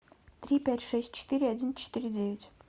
три пять шесть четыре один четыре девять